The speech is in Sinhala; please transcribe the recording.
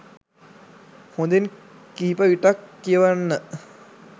හොඳින් කිහිප විටක් කියවන්න